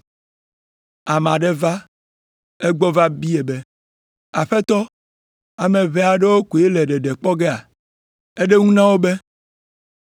Ame aɖe va egbɔ va biae be, “Aƒetɔ, ame ʋɛ aɖewo koe le ɖeɖe kpɔ gea?” Eɖo eŋu na wo be,